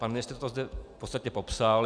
Pan ministr to zde v podstatě popsal.